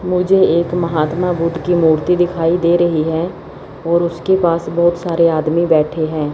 मुझे एक महात्मा बुद्ध की मूर्ति दिखाई दे रही है और उसके पास बहोत सारे आदमी बैठे है।